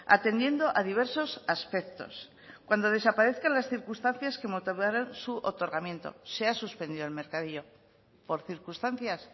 atendiendo a diversos aspectos cuando desaparezcan las circunstancias que motivaron su otorgamiento se ha suspendido el mercadillo por circunstancias